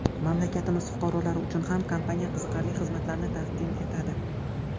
Mamlakatimiz fuqarolari uchun ham kompaniya qiziqarli xizmatlarni taqdim etadi.